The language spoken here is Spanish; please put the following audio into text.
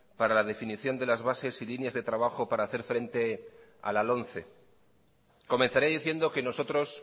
para la definición de las bases y líneas de trabajo para hacer frente a la lomce comenzaré diciendo que nosotros